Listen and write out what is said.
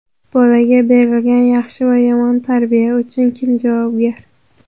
Bolaga berilgan yaxshi va yomon tarbiya uchun kim javobgar?